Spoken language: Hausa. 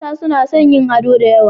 Mata suna son yin ado da yawa.